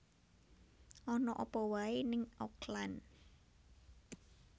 Ana apa wae ning Auckland